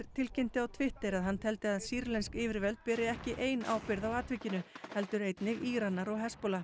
tilkynnti á Twitter að hann teldi að sýrlensk yfirvöld beri ekki ein ábyrgð á atvikinu heldur einnig Íranar og